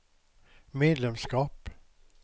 medlemskap